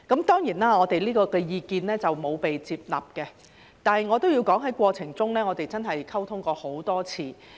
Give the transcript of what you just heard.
當然，我們這項意見沒有獲接納，但我也要說在過程中，我們真是溝通過很多次。